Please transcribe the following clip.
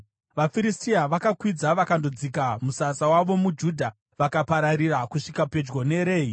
VaFiristia vakakwidza vakandodzika musasa wavo muJudha, vakapararira kusvika pedyo neRehi.